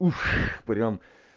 ух прям